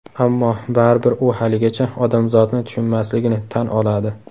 Ammo baribir u haligacha odamzotni tushunmasligini tan oladi.